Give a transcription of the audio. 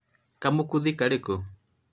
gakũmũthĩ karĩ kũ?